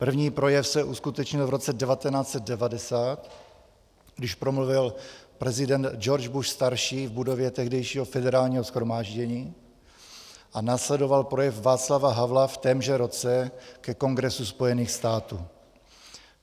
První projev se uskutečnil v roce 1990, když promluvil prezident Georg Bush starší v budově tehdejšího Federálního shromáždění, a následoval projev Václava Havla v témže roce ke Kongresu Spojených států.